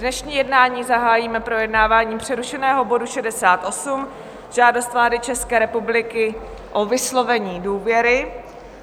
Dnešní jednání zahájíme projednáváním přerušeného bodu 68, Žádost vlády České republiky o vyslovení důvěry.